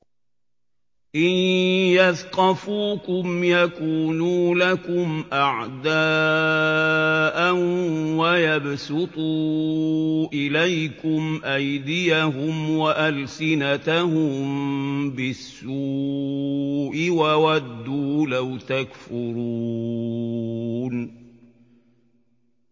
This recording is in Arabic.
إِن يَثْقَفُوكُمْ يَكُونُوا لَكُمْ أَعْدَاءً وَيَبْسُطُوا إِلَيْكُمْ أَيْدِيَهُمْ وَأَلْسِنَتَهُم بِالسُّوءِ وَوَدُّوا لَوْ تَكْفُرُونَ